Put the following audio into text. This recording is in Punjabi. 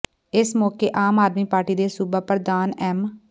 ਇਸ ਮੌਕੇ ਆਮ ਆਦਮੀ ਪਾਰਟੀ ਦੇ ਸੂਬਾ ਪ੍ਰਧਾਨ ਐਮ